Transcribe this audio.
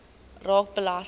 raak belasting